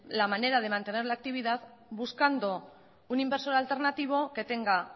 la manera de mantener la actividad buscando un inversor alternativo que tenga